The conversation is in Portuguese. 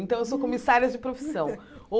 Então, eu sou comissária de profissão ou.